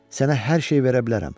Sənə hər şey verə bilərəm.